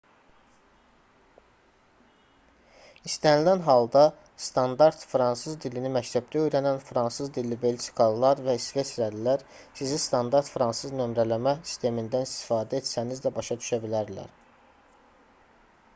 i̇stənilən halda standart fransız dilini məktəbdə öyrənən fransız dilli belçikalılar və i̇sveçrəlilər sizi standart fransız nömrələmə sistemindən istifadə etsəniz də başa düşə bilərdilər